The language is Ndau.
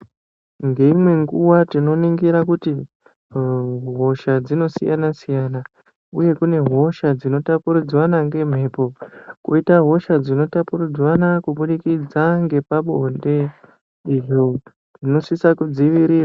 Ngeimwe nguwa tinoningira kuti hosha dzinosiyana siyana uye kune hosha dzinotapuridzanwa ngemhepo , koita hosha dzinotapuridzanwa kuburikidza ngepabonde izvo zvinosisa kudzivirirwa.